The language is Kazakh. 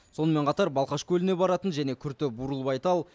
сонымен бірге балқаш көліне баратын және күрті бурылбайтал